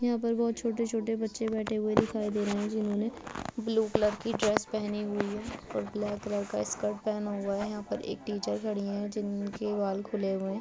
यहाँ पर बहोत छोटे-छोटे बच्चे बैठे हुए दिखाई दे रहे हैं। जिन्होंने ब्लू कलर की ड्रेस पहनी हुई है और कलर का स्कर्ट पहना हुआ है। यहाँ पर एक टीचर खड़ी हैं जिनके बाल खुले हुए हैं।